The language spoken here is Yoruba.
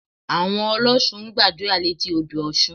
Àwọn ọlọ́ṣun ń gbàdúrà létí odò Ọ̀ṣun